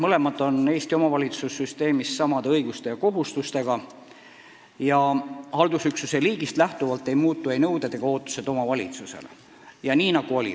Neil on Eesti omavalitsussüsteemis samad õigused ja kohustused, haldusüksuse liigist nõuded ega ootused omavalitsusele ei sõltu.